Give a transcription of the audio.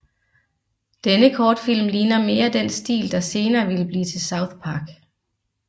Denne kortfilm ligner mere den stil der senere ville blive til South Park